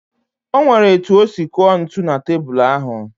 O nwere etu o si kụọ ntụ na tebulu ahụ